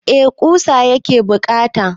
Eh ƙusa yake buƙata.